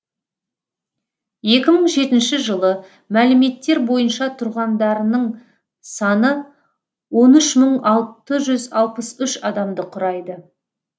екі мың жетінші жылы мәліметтер бойынша тұрғандарының саны он үш мың алты жүз алпыс үш адамды құрайды